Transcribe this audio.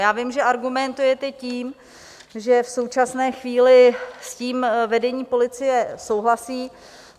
Já vím, že argumentujete tím, že v současné chvíli s tím vedení policie souhlasí.